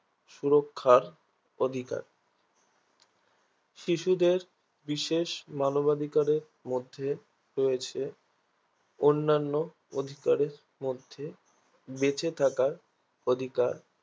সুরক্ষার অধিকার শিশুদের বিশেষ মানবাধিকারের মধ্যে রয়েছে অন্যান্য অধিকারের মধ্যে বেঁচে থাকার অধিকার